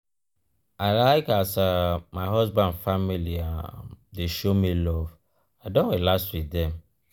i like as um my husband family um dey show me love um i don relax wit dem.